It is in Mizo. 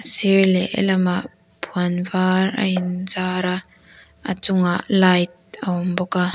sir leh he lamah puan var a in zar a a chungah light a awm bawk a.